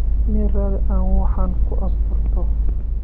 Mel raadi aa waxan kuasturto.